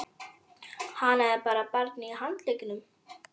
Hann er með barnið á handleggnum.